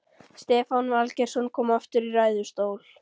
Stefán Valgeirsson kom aftur í ræðustól.